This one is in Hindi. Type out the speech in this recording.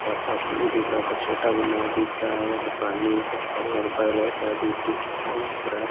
या पथ भी दिख रहा है पर छोटा भी नाव दिख रहा है एक पानीर बल दूर दूर तक पानी दिख रहा है।